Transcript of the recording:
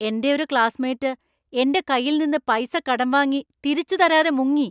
എന്‍റെ ഒരു ക്ലാസ്സ്മേറ്റ് എന്‍റെ കൈയിൽ നിന്ന് പൈസ കടം വാങ്ങി തിരിച്ച് തരാതെ മുങ്ങി.